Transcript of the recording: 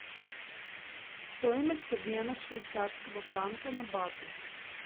стоимость обмена швейцарского франка на баты